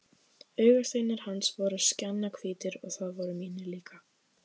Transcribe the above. Augasteinar hans voru skjannahvítir og það voru mínir líka.